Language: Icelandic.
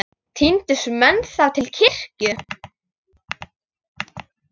Tíndust menn þá til kirkju.